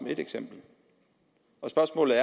et eksempel og spørgsmålet